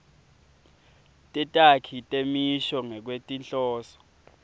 tetakhi temisho ngekwetinhloso